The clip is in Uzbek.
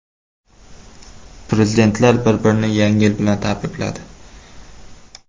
Prezidentlar bir-birini Yangi yil bilan tabrikladi.